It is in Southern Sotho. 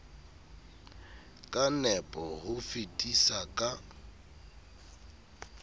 ka nepo ho fetisa ka